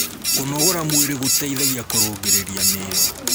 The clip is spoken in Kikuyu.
kũnogora mwĩrĩ gũteithagia kurungirirĩa miiri